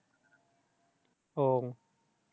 আহ